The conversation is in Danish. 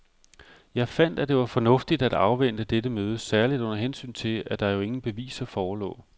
Jeg fandt, at det var fornuftigt at afvente dette møde særligt under hensyn til, at der jo ingen beviser forelå.